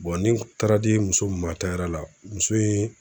ni n taara di muso mi ma la muso in